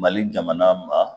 Mali jamana ma